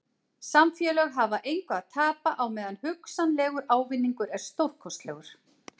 Samfélög hafa engu að tapa á meðan hugsanlegur ávinningur er stórkostlegur.